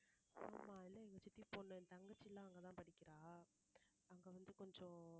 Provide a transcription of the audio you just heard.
ஆமா எங்க சித்தி பொண்ணு என் தங்கச்சி எல்லாம் அங்கதான் படிக்கிறா அங்க வந்து கொஞ்சம்